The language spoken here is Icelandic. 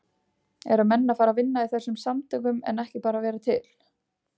Eru menn að fara að vinna í þessum samtökum en ekki bara vera til?